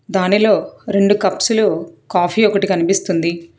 దానిలో రెండు కప్సులు కాఫీ ఒకటి కనిపిస్తుంది.